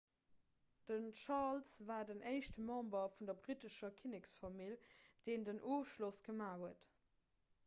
den charles war den éischte member vun der brittescher kinneksfamill deen en ofschloss gemaach huet